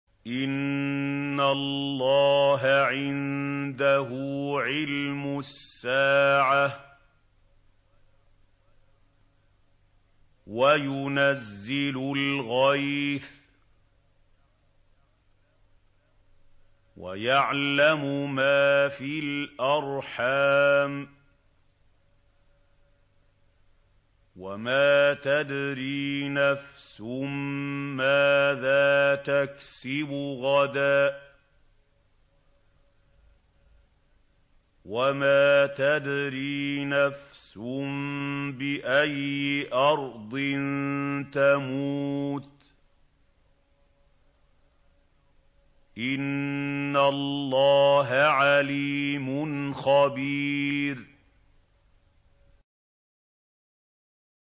إِنَّ اللَّهَ عِندَهُ عِلْمُ السَّاعَةِ وَيُنَزِّلُ الْغَيْثَ وَيَعْلَمُ مَا فِي الْأَرْحَامِ ۖ وَمَا تَدْرِي نَفْسٌ مَّاذَا تَكْسِبُ غَدًا ۖ وَمَا تَدْرِي نَفْسٌ بِأَيِّ أَرْضٍ تَمُوتُ ۚ إِنَّ اللَّهَ عَلِيمٌ خَبِيرٌ